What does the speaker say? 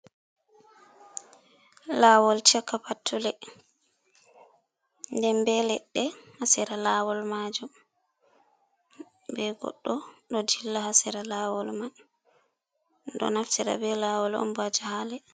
Lawol caka pattule, nden be leɗɗe hasera lawol majum be goɗɗo ɗo dilla hasira lawol man, ɗum ɗo naftira be lawol on baja hale.